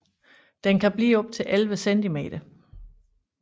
Den kan blive op til 11 cm